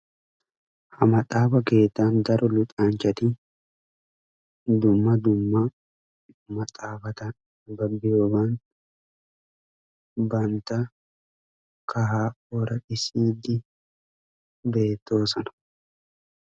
ha maxaafa keettan daro luxxanchaatti dumma dumma maaxafatta nababiyoogan bantta kahaa ooraxxisiddi beettoosona.